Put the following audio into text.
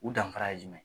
U danfara ye jumɛn ye